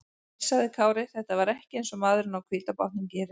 Nei, sagði Kári, þetta var ekki eins og maðurinn á hvíta bátnum gerir.